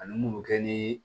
Ani mun bɛ kɛ ni